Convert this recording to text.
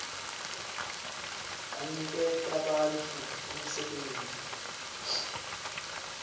aniketa bantfu umsebenti